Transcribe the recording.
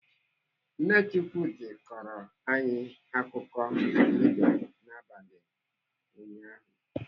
Nne Chukwudi kọrọ anyị akụkụ mbe n'abalị ụnyaahụ.